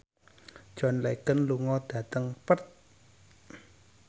John Legend lunga dhateng Perth